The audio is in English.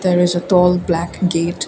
there is a tall black gate.